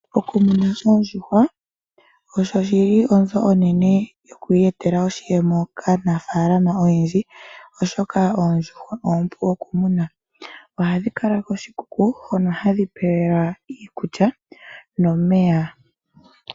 Okumuna oondjuhwa osho shili onzo onene yoku iyetela oshiyemo kaanafaalama oyendji, oshoka oondjuhwa oompu okumuna. Ohadhi kala koshikuku hono hadhi pewelwa iikulya nomeya.